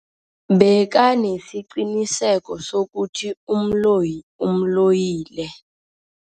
Bekanesiqiniseko sokuthi umloyi umloyile.